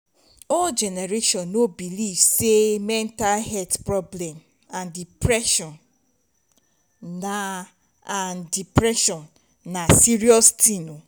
old generation no believe sey mental health problem and depression na and depression na serious thing